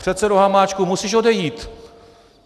Předsedo Hamáčku, musíš odejít.